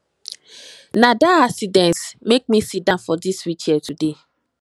na dat accident make me siddon for dis wheel chair today